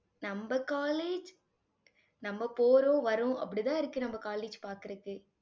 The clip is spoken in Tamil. நம்ம college நம்ம போறோம் வர்றோம் அப்படித்தான் இருக்கு நம்ம college பாக்குறதுக்கு.